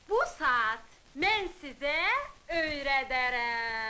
Bu saat mən sizə öyrədərəm.